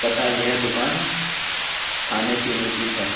तथा यह दुकान खाने पीने की है।